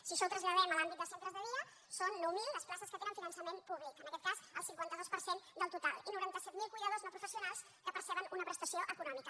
si això ho traslla·dem a l’àmbit de centres de dia són nou mil les places que tenen finançament públic en aquest cas el cinquanta dos per cent del total i noranta set mil cuidadors no professionals que perceben una prestació econòmica